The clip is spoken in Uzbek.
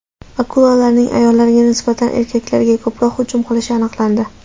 Akulalarning ayollarga nisbatan erkaklarga ko‘proq hujum qilishi aniqlandi.